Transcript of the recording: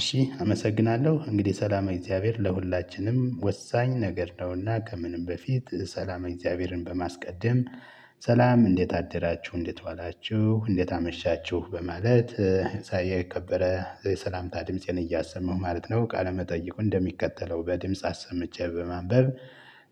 እሺ አመሰግናለሁ እንግዲህ ሰላመ እግዚአብሔር ለሁላችንም ወሳኝ ነገር ነውና ከምንም በፊት ሰላመ እግዚአብሔርን በማስቀደም። ሰላም እንዴት አደራችሁ እንዴት ዋላችሁ እንዴት አመሻችሁ በማለት የከበረ የሰላምታ ድምፄን እያሰማሁ ማለት ነው። ቃለመጠይቁን እንደሚከተለው በድምጽ አሰምቼ በማንበብ